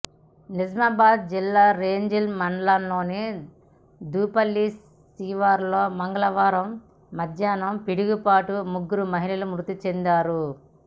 నిజామాబాద్ జిల్లా రెంజల్ మండలంలోని దూపల్లి శివారులో మంగళవారం మధ్యాహ్నం పిడుగుపాటుకు ముగ్గురు మహిళలు మృతి చెందారు